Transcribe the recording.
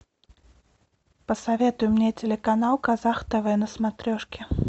посоветуй мне телеканал казах тв на смотрешке